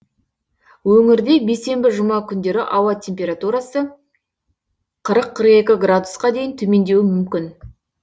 өңірде бейсенбі жұма күндері ауа температурасы қырық қырық екі градусқа дейін төмендеуі мүмкін